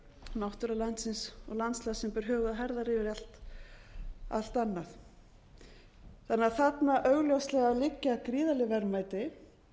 náttúra landsins og landslag sem ber höfuð og herðar yfir allt annað þannig að þarna augljóslega liggja gríðarleg verðmæti